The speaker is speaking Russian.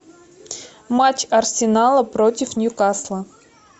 матч арсенала против ньюкасла